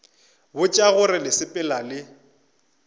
botša gore le sepela le